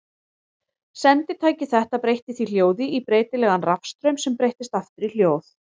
Senditæki þetta breytti því hljóði í breytilegan rafstraum sem breyttist aftur í hljóð.